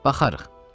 Baxarıq.